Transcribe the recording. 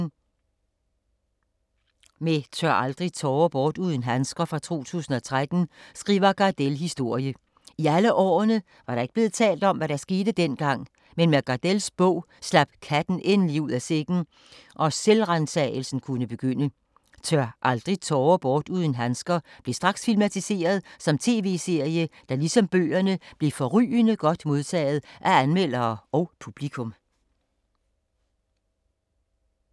Med Tør aldrig tårer bort uden handsker fra 2013 skriver Gardell historie. I alle årene var der ikke blevet talt om, hvad der skete dengang, men med Gardells bog slap katten endelig ud af sækken og selvransagelsen kunne begynde. Tør aldrig tårer bort uden handsker blev straks filmatiseret som tv-serie, der ligesom bøgerne blev forrygende godt modtaget af anmeldere og publikum.